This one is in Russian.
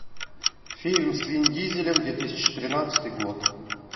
фильм с вин дизелем две тысячи тринадцатый год